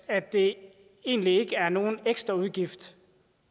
at det egentlig ikke er nogen ekstraudgift